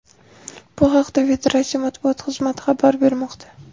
Bu haqda federatsiya matbuot xizmati xabar bermoqda .